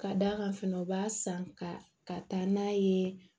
Ka d'a kan fana u b'a san ka taa n'a ye